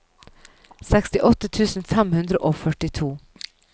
sekstiåtte tusen fem hundre og førtito